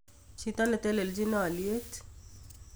Chito netelelchin olyet